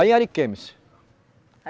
Aí em Ariquemes.